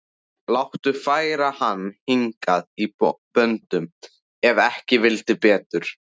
Láta færa hann hingað í böndum ef ekki vildi betur.